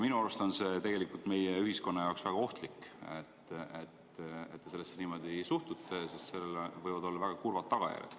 Minu arust on see meie ühiskonna jaoks väga ohtlik, et te sellesse niimoodi suhtute, sest sellel võivad olla väga kurvad tagajärjed.